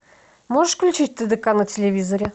можешь включить тдк на телевизоре